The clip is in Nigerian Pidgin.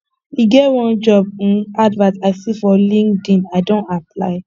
e get one job um advert i see for linkedin i don apply